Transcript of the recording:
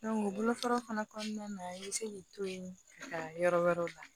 bolofara fana kɔnɔna na i bɛ se k'i to yen ka taa yɔrɔ wɛrɛw la